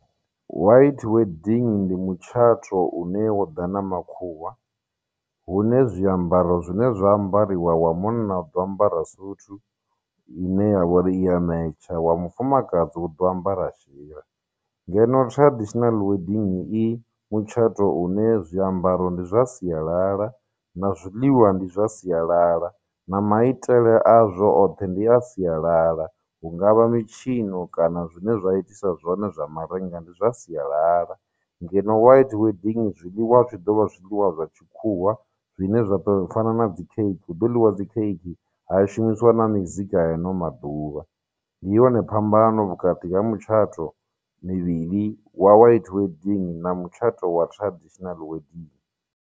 White wedding ndi mutshato une wo ḓa na makhuwa hune zwiambaro zwine zwa ambariwa wa munna u ḓo ambara suthu ine ya vha uri iya metsha wa mufumakadzi uḓo ambara shira ngeno traditional wedding i mutshato une zwiambaro ndi zwa sialala na zwiḽiwa ndi zwa sialala na maitele a zwo oṱhe ndi a sialala hungavha mitshino kana zwine zwa itisa zwone zwa marenga ndi zwa sialala ngeno white wedding zwiḽiwa zwi ḓo vha zwiḽiwa zwa tshikhuwa zwine zwa ḓo fana na dzi khekhe hu ḓo ḽiwa dzi khekhe ha shumisiwa na mizika ya ano maḓuvha ndi yone phambano vhukati ha mutshato mivhili wa white wedding na mutshato wa traditional wedding.